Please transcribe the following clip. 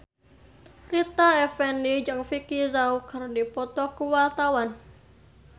Rita Effendy jeung Vicki Zao keur dipoto ku wartawan